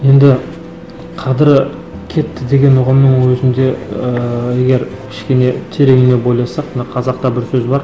енді қадірі кетті деген ұғымның өзінде ыыы егер кішкене тереңіне бойласақ мына қазақта бір сөз бар